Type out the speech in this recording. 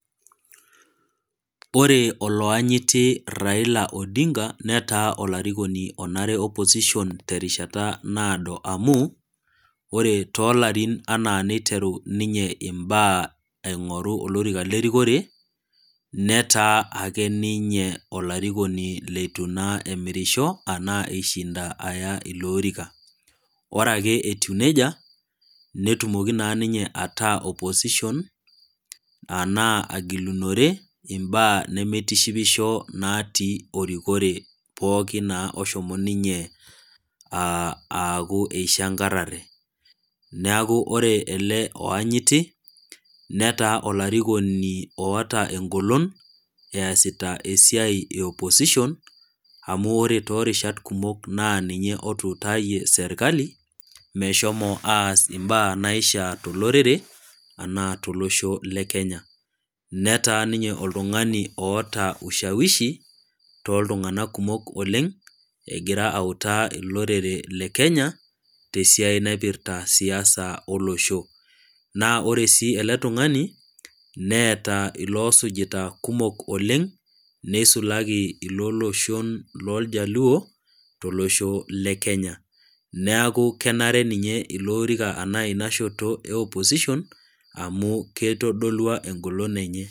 Ore olayanyiti Raila Odinga netaa olarikoni onare opposition tenkata naado amuu, ore toolarin anaa peiteru ninye imbaa aing'oru olorika le erikore, netaa naa ninye olarikoni leitu naa emirishou anaa eishinda anaa aya iloorika. Ore ake etiu neija, netumoki naa ninye ataa opposition, anaa agilunore, imbaa nemeitishipisho naatii erikore pooki naa oshomo ninye aaku aaku eishang'arare. Neaku ore ele oanyiti, netaa olarikoni oata eng'olon, easita esiai e opposition, amu ore toorishat kumok naa ninye otuutayie serkali, meshomo aas imbaa naishaa tolorere, anaa tolosho le Kenya. Netaa ninye oltung'ani oata ushawishi tooltung'anak kumok oleng', egira autaa olorere le Kenya, te esiai naip[irta siasa olosho. Naa ore sii ele tung'ani, neata iloosujita kumok oleng', neisulaki ilooloshon looljaluo, tolosho le Kenya. Neaku kenare ninye ilo oorika anaa ina shoto e opposition amu keitodolua eng'olon enye.